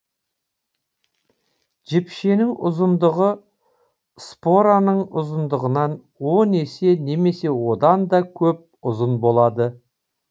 жіпшенің ұзындығы спораның ұзындығынан он есе немесе оданда көп ұзын болады